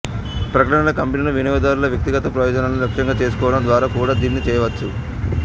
ప్రకటనల కంపెనీలు వినియోగదారుల వ్యక్తిగత ప్రయోజనాలను లక్ష్యంగా చేసుకోవడం ద్వారా కూడా దీన్ని చేయవచ్చు